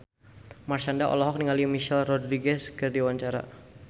Marshanda olohok ningali Michelle Rodriguez keur diwawancara